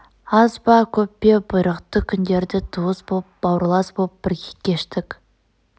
аз ба көп пе бұйрықты күндерді туыс боп бауырлас боп бірге кештік